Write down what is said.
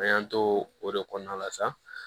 An y'an to o de kɔnɔna la sa